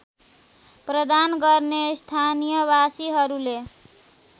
प्रदान गर्ने स्थानीयवासीहरूले